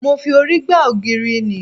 Mo fi orí gba ògiri ni